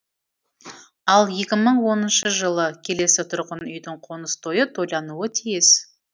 ал екі мың оныншы жылы келесі тұрғын үйдің қоныс тойы тойлануы тиіс еді